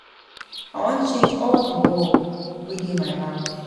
I wan change all the bulb wey dey my house